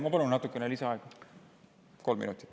Ma palun natuke lisaaega, kolm minutit.